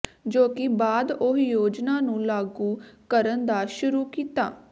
ਜੋ ਕਿ ਬਾਅਦ ਉਹ ਯੋਜਨਾ ਨੂੰ ਲਾਗੂ ਕਰਨ ਦਾ ਸ਼ੁਰੂ ਕੀਤਾ